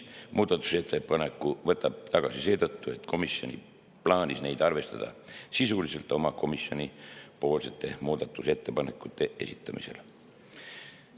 Muudatusettepanekud nr 4 ja 5 võttis ta tagasi seetõttu, et komisjon plaanis neid arvestada sisuliselt oma muudatusettepanekute esitamisel.